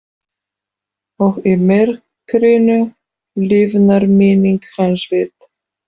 Og í myrkrinu lifnar minning hans við.